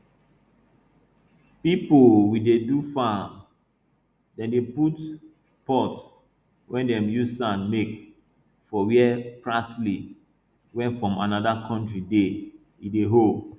pipo we dey do farm dem dey put pot wey dem use sand make for where parsley wey from anoda country dey e dey hold